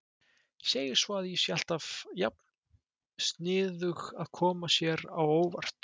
Segir svo að ég sé alltaf jafn sniðug að koma sér á óvart.